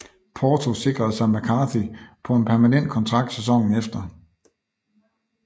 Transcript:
Porto sikrede sig McCarthy på en permanent kontrakt sæsonen efter